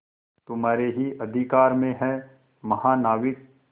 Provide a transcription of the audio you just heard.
तुम्हारे ही अधिकार में है महानाविक